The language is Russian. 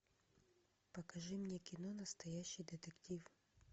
покажи мне кино настоящий детектив